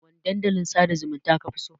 Wane dandalin sada zumunta kafi so?